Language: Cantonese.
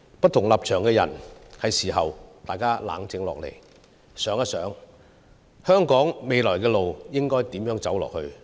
不同立場的人是時候冷靜下來，想一想香港未來的路應如何走下去。